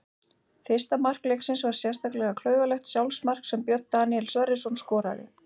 Fyrsta mark leiksins var sérlega klaufalegt sjálfsmark sem Björn Daníel Sverrisson skoraði.